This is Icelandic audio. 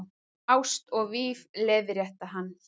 Ást og víf- leiðrétti hann.